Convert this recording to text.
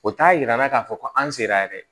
O t'a jira an na k'a fɔ ko an sera yɛrɛ